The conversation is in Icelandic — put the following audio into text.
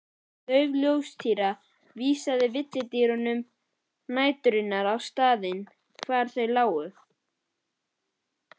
Dauf ljóstýra vísaði villidýrum næturinnar á staðinn hvar þau lágu.